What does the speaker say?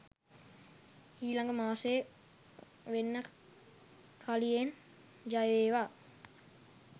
ඊලඟ මාසේ වෙන්න කලියෙන් ජයවේවා.